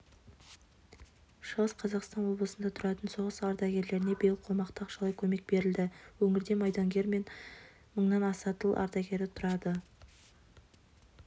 шығыс қазақстан облысында тұратын соғыс ардагерлеріне биыл қомақты ақшалай көмек берілді өңірде майдангер мен мыңнан аса тыл ардагері тұрады